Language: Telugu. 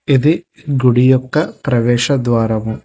ఇది గుడి యొక్క ప్రవేశ ద్వారము.